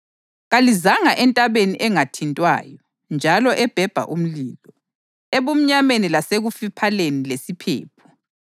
Kalizanga entabeni engathintwayo njalo ebhebha umlilo; ebumnyameni lasekufiphaleni lesiphepho;